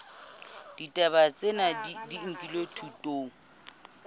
ditaba tsena di nkilwe thutong